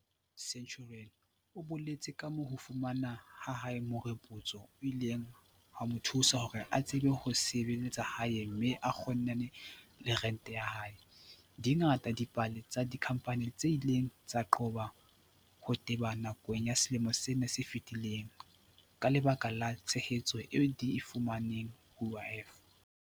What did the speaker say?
Ntuli, molaodi wa molao, Centurion, o boletse kamoo ho fumana ha hae meropotso ho ileng ha mo thusa hore a tsebe ho sebe-letsa hae mme a kgonane le rente ya hae. Di ngata dipale tsa dikhampani tse ileng tsa qoba ho teba nakong ya selemo sena se fetileng ka lebaka la tshehetso eo di e fumaneng ho UIF.